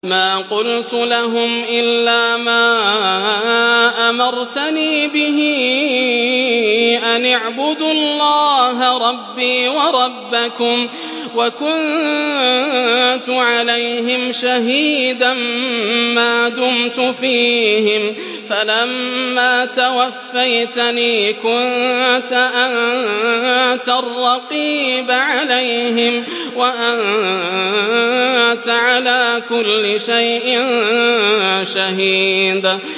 مَا قُلْتُ لَهُمْ إِلَّا مَا أَمَرْتَنِي بِهِ أَنِ اعْبُدُوا اللَّهَ رَبِّي وَرَبَّكُمْ ۚ وَكُنتُ عَلَيْهِمْ شَهِيدًا مَّا دُمْتُ فِيهِمْ ۖ فَلَمَّا تَوَفَّيْتَنِي كُنتَ أَنتَ الرَّقِيبَ عَلَيْهِمْ ۚ وَأَنتَ عَلَىٰ كُلِّ شَيْءٍ شَهِيدٌ